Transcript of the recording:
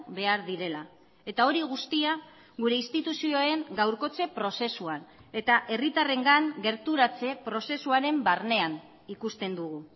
behar direla eta hori guztia gure instituzioen gaurkotze prozesuan eta herritarrengan gerturatze prozesuaren barnean ikusten dugu